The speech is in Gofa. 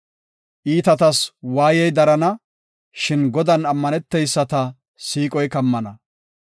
Iitatas waayey darana; shin Godan ammaneteyisata siiqoy kammana.